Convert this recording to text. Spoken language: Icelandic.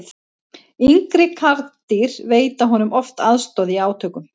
yngri karldýr veita honum oft aðstoð í átökum